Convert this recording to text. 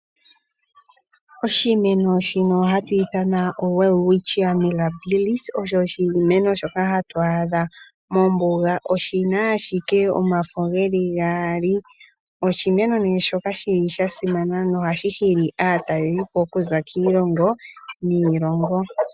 Oshimeno shino hatu ithana oWelwitschia Mirabillis osho oshimeno shoka hatu adha mombuga, oshina ashike omafo geli gaali. Oshimeno ne shoka shili sha simana nohashi hili aatalelipo okuza kiilongo niilongo.